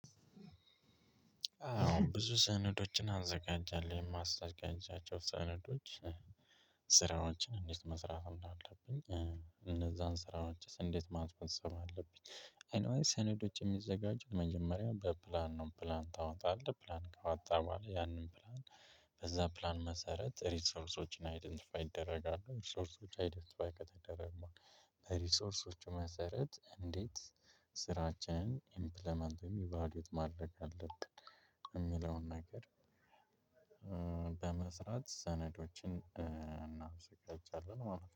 አዎን ብዙ ሰነዶችን አዘጋጃለሁ። የማዘጋጃቸው ሰነዶች ስራዎችን እንዴት መስራት እንዳለብኝ፤ እነዛን ስራዎችስ እንዴት ማስፈጸም አለብኝ ኤኒ ዌይ ሰነዶች የሚዘጋጁ መጀመሪያ በፕላን ነው። ፕላን ታወጣለህ፥ ፕላን ካወጣህ በኋላ ያንን ፕላን በዛ ፕላን መሰረት ሪሶርሶችን አይደንቲፋይ ይደረጋሉ። ሪሶርሶች አይደንቲፋይ ከተደረጉ ሪሶርሶች መሰረት እንዴት ስራችንን ኢምፕሊመንት ወይም ኢቫሉዌት ማድረግ አለብን የሚለውን ነገር በመስራት ሰነዶችን እናዘጋጃለን።